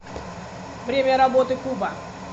время работы куба